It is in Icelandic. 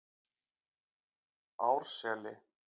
Árseli